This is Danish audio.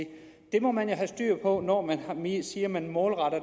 må man jo have styr på når man siger at man målretter